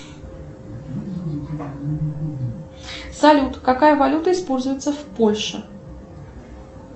салют какая валюта используется в польше